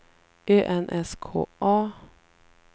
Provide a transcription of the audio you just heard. Ö N S K A